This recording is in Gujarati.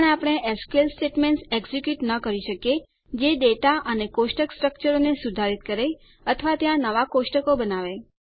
પણ આપણે એસક્યુએલ સ્ટેટમેન્ટ્સ એક્ઝેક્યુંટ ન કરી શકીએ જે ડેટા અને કોષ્ટક સ્ટ્રક્ચરોને સુધારિત કરે છે અથવા ત્યાં નવાં કોષ્ટકો બનાવે છે